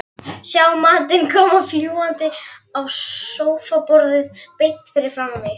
Sjá matinn koma fljúgandi á sófaborðið beint fyrir framan sig.